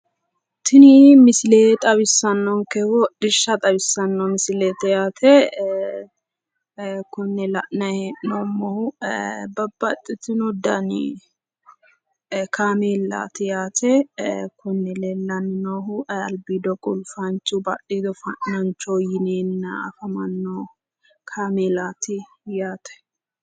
Tini misile. xawissannonkehu hidhishsha xawissanno yaate. Kinne la'nanni hee'noommohu babbaxxitino dani kaameelaati yaate leellanni noohu albiido qulfanchu badhiido fa'nanchu yineenna afamanno kaameelaati yaate?